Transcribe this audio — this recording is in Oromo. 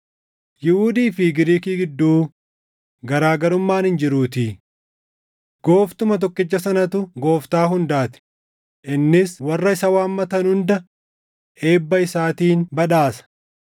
Yihuudii fi Giriikii gidduu garaa garummaan hin jiruutii; Gooftuma tokkicha sanatu Gooftaa hundaa ti; innis warra isa waammatan hunda eebba isaatiin badhaasa.